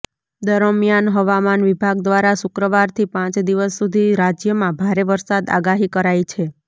દરમિયાન હવામાન વિભાગ દ્વારા શુક્રવારથી પાંચ દિવસ સુધી રાજ્યમાં ભારે વરસાદ આગાહી કરાઈ છે